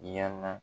Yanaa